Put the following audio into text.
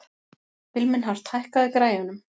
Vilmenhart, hækkaðu í græjunum.